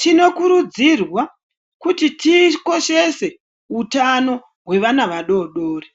Tinokurudzirwa kuti tikoshese hutano hwevana vadoodori ,